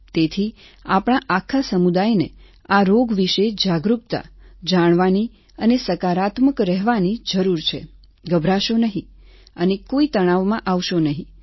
તેથી આપણા આખા સમુદાયને આ રોગ વિશે જાગરૂકતા જાણવાની અને સકારાત્મક રહેવાની જરૂર છે ગભરાશો નહીં અને કોઈ તણાવમાં આવશો નહીં